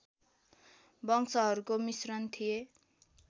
वंशहरूको मिश्रण थिए